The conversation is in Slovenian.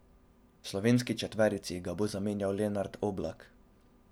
V slovenski četverici ga bo zamenjal Lenart Oblak.